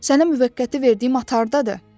Sənə müvəqqəti verdiyim açardadır.